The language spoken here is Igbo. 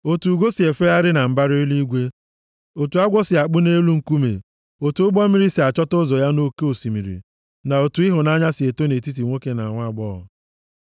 Otu ugo si efegharị na mbara eluigwe; otu agwọ si akpụ nʼelu nkume, otu ụgbọ mmiri si achọta ụzọ ya nʼoke osimiri; na otu ịhụnanya si eto nʼetiti nwoke na nwaagbọghọ.